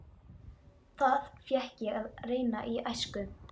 Það fékk ég að reyna í æsku.